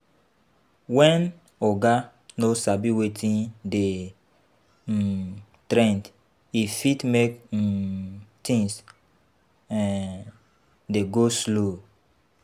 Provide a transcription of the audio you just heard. When oga no sabi wetin dey um trend e fit make um things um dey go slow